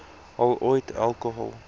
al ooit alkohol